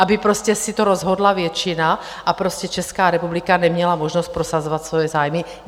Aby si to rozhodla většina a Česká republika neměla možnost prosazovat svoje zájmy?